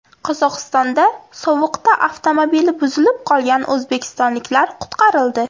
Qozog‘istonda sovuqda avtomobili buzilib qolgan o‘zbekistonliklar qutqarildi.